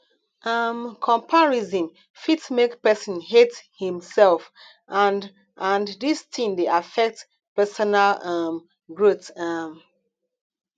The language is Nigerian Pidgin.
um comparison fit make person hate him self and and dis thing dey affect personal um growth um